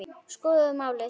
Skoðum málið.